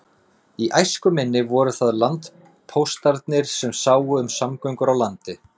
Í æsku minni voru það landpóstarnir sem sáu um samgöngur á landi.